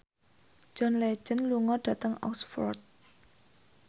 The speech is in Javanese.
John Legend lunga dhateng Oxford